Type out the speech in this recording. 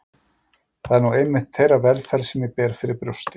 Það er nú einmitt þeirra velferð sem ég ber fyrir brjósti.